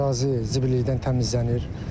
Ərazi zibillikdən təmizlənir.